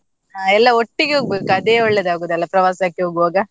ಹಾ ಎಲ್ಲ ಒಟ್ಟಿಗೆ ಹೋಗ್ಬೇಕು ಅದೇ ಒಳ್ಳೇದಾಗುದಲ್ವಾ ಪ್ರವಾಸಕ್ಕೆ ಹೋಗುವಾಗ.